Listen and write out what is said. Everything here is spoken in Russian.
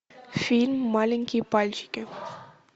фильм маленькие пальчики